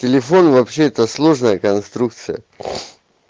телефон вообще это сложная конструкция